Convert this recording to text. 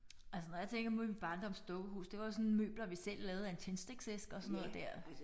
Altså når jeg tænker på min barndoms dukkehus det var jo sådan møbler vi selv lavede af en tændstikæske og sådan noget dér